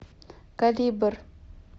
калибр